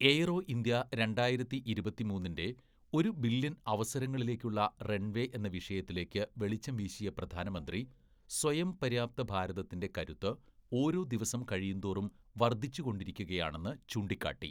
Aero India രണ്ടായിരത്തി ഇരുപത്തിമൂന്നിന്റെ ഒരു ബില്യൺ അവസരങ്ങളിലേക്കുള്ള റൺവേ എന്ന വിഷയത്തിലേക്ക് വെളിച്ചം വീശിയ പ്രധാനമന്ത്രി, സ്വയംപര്യാപ്ത ഭാരതത്തിന്റെ കരുത്ത് ഓരോ ദിവസം കഴിയുന്തോറും വർദ്ധിച്ചുകൊണ്ടിരിക്കുകയാണെന്നു ചൂണ്ടിക്കാട്ടി.